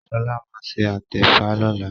Shola má ṣe atefa lọla